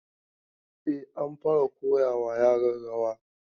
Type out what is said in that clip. E, an fara koya wa yaran rawa.